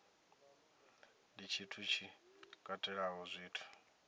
ndi tshithu tshi katelaho zwithu